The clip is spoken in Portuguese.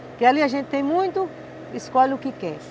Porque ali a gente tem muito, escolhe o que quer.